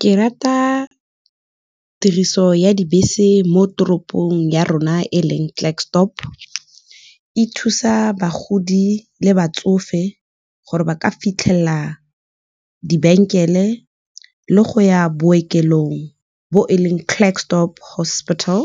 Ke rata tiriso ya dibese mo toropong ya rona, e leng Klerksdorp, e thusa bagodi le batsofe, gore ba ka fitlhelela le go ya bookelong, bo e leng Klerksdorp hospital.